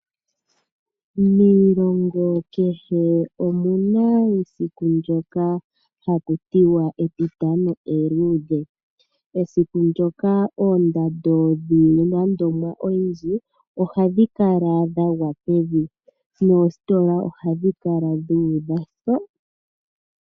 Miilongo kehe omuna esiku ndjoka haku tiwa etitano eluudhe, esiku ndyoka oondando dhiinima oyindji ohadhi kala dhagwa pevi, noositola ohadhi kala dhuudha.